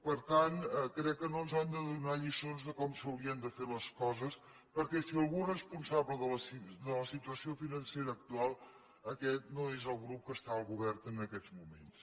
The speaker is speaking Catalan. per tant crec que no ens han de donar lliçons de com s’haurien de fer les coses perquè si algú és responsable de la situació financera actual aquest no és el grup que està al govern en aquests moments